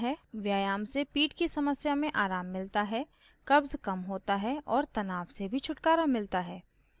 व्यायाम से पीठ की समस्या में आराम मिलता है कब्ज़ कम होता है और तनाव से भी छुटकारा मिलता है